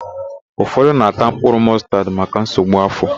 Ụfọdụ na-ata mkpụrụ mọstad maka nsogbu áfọ̀.